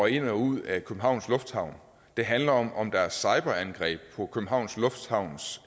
i og ud af københavns lufthavn det handler om om der er cyberangreb på københavns lufthavns